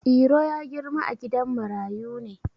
Iro ya girma a gidan marayu ne.